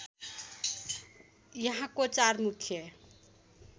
यहाँको चार मुख्य